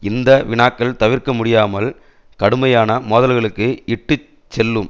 இந்த வினாக்கள் தவிர்க்க முடியாமல் கடுமையான மோதல்களுக்கு இட்டு செல்லும்